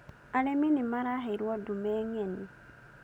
Arĩmi nĩ maraheirwo ndume ng'eni